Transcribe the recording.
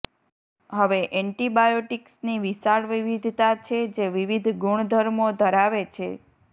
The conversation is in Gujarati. હવે એન્ટીબાયોટીક્સની વિશાળ વિવિધતા છે જે વિવિધ ગુણધર્મો ધરાવે છે